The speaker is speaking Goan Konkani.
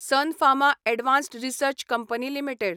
sun Pharma advanced research company limited